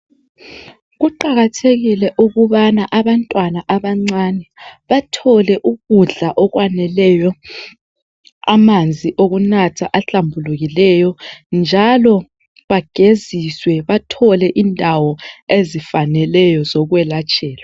Kuqakathekile ukubana abantwana abancane bathole ukudla okwaneleyo. Amanzi okunatha ahlambulukileyo njalo bageziswe bathole indawo ezifaneleyo zokwelatshelwa.